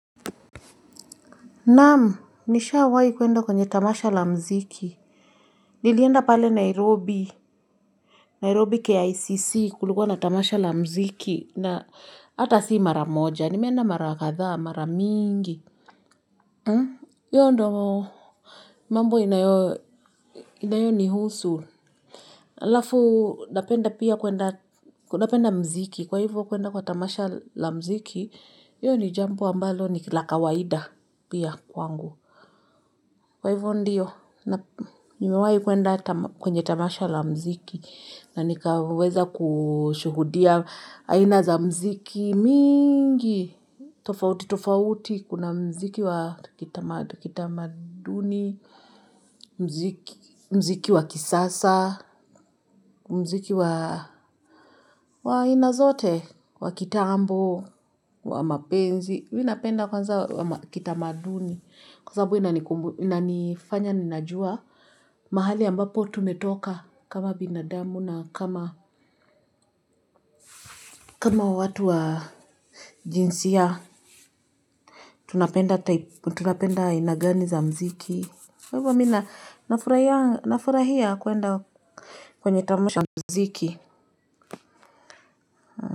Naamu, nisha wahi kuenda kwenye tamasha la mziki. Nilienda pale Nairobi. Nairobi ke ICC kuliguwa na tamasha la mziki. Na ata si mara moja. Nimeenda mara katha, mara mingi. Hio ndio, mambo inayo nihusu. Halafu napenda muziki. Kwa hivo kwenda kwa tamasha la muziki, hio ni jambo ambalo ni la kawaida pia kwangu. Kwa hivyo ndio. Nimewahi kwenda kwenye tamasha la muziki na nikaweza kushuhudia aina za muziki mingi, tofauti tofauti, kuna mziki wa kitamaduni, muziki wa kisasa, muziki wa aina zote wa kitambo, wa mapenzi. Mimi napenda kwanza kitamaduni. Kwa sababu inanifanya ninajua mahali ambapo tumetoka kama binadamu na kama kama watu wa jinsia tunapenda aina gani za muziki. Kwa hivyo mimi nafurahia kwenda kwenye tamasha za muziki.